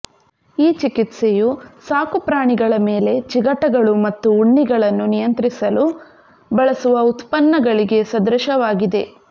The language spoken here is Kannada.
ಈ ಚಿಕಿತ್ಸೆಯು ಸಾಕುಪ್ರಾಣಿಗಳ ಮೇಲೆ ಚಿಗಟಗಳು ಮತ್ತು ಉಣ್ಣಿಗಳನ್ನು ನಿಯಂತ್ರಿಸಲು ಬಳಸುವ ಉತ್ಪನ್ನಗಳಿಗೆ ಸದೃಶವಾಗಿದೆ